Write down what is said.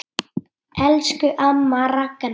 Elsku amma Ragna.